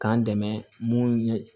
K'an dɛmɛ mun ye